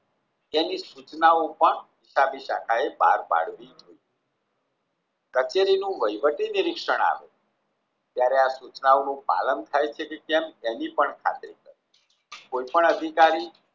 તેની સૂચનાઓ પણ હિસાબી શાખાએ પાર પાડવી જોઈએ કચેરીનું વહીવટી નિરીક્ષણ આપવું જયારે આ સૂચનાઓનું પાલન થાય છે કે કેમ તેની પણ ખાતરી કરવી કોઈ પણ અધિકારી